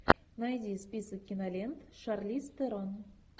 найди список кинолент шарлиз терон